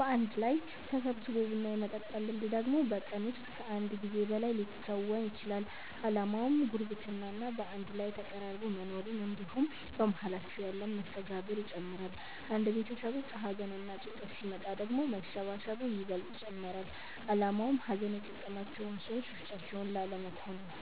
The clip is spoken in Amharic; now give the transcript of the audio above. በአንድ ላይ ተሰባስቦ ቡና የመጠጣት ልምድ ደግሞ በቀን ውስጥ ከአንድ ጊዜ በላይ ሊከወን ይችላል። አላማውም ጉርብትና እና በአንድ ላይ ተቀራርቦ መኖርን እንድሁም በመሃላቸው ያለን መስተጋብር ይጨምራል። አንድ ቤተሰብ ውስጥ ሀዘንና ጭንቀት ሲመጣ ደግሞ መሰባሰቡ ይበልጥ ይጨመራል አላማውም ሀዘን የገጠማቸውን ሰዎች ብቻቸውን ላለመተው ነው።